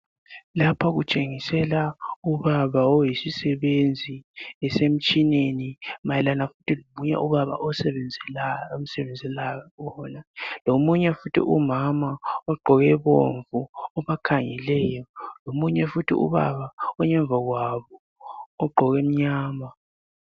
Lapho kutshengisela ubaba oyisisebenzi esemtshineni mayelana futhi lomunye ubaba omsebenzalayo lomunye futhi umama ogqoke bomvu obakhangelayo lomunye futhi ubaba ongemva kwabo ogqoke okumnyama.